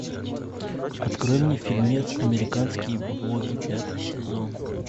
открой мне фильмец американские боги пятый сезон